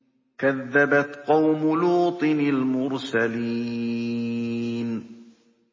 كَذَّبَتْ قَوْمُ لُوطٍ الْمُرْسَلِينَ